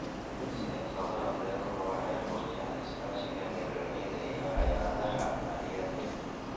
Siyaasadaha beeruhu waxay xoojiyaan iskaashiga beeralayda iyo hay'adaha maaliyadeed.